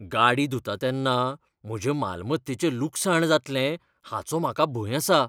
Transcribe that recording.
गाडी धुता तेन्ना म्हजे मालमत्तेचें लुकसाण जातलें हाचो म्हाका भंय आसा.